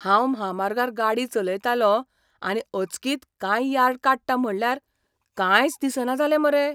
हांव म्हामार्गार गाडी चलयतालों आनी अचकीत कांय यार्ड काडटा म्हटल्यार कांयच दिसना जालें मरे.